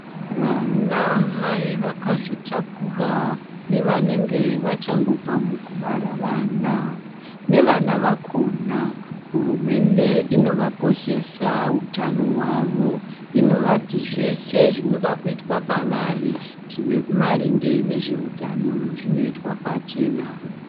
Vanamai vakazitakura nevanenge vachangobva mukubara vana nevana vakona. Hurumende inovakoshesa hutano hwavo inovati zveshe zvinoda kuitwa pavari zvine maringe ngezveutano zvinoitwa pachena.